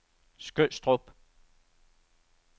Skødstrup